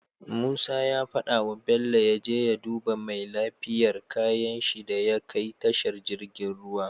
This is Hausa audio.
Musa ya fada wa bello yaje ya duba mai lafiyar kayan shi daya kai tashar jirgin ruwa